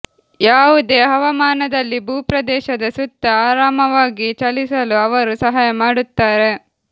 ಯಾವುದೇ ಹವಾಮಾನದಲ್ಲಿ ಭೂಪ್ರದೇಶದ ಸುತ್ತ ಆರಾಮವಾಗಿ ಚಲಿಸಲು ಅವರು ಸಹಾಯ ಮಾಡುತ್ತಾರೆ